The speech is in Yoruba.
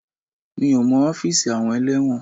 Mi ò mọ ọ́fíìsì àwọn ẹlẹ́wọ̀n.